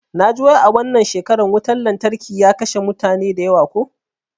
Naji wai a wannan shekara wutan lantarkin ya kashe mutane da yawa ko?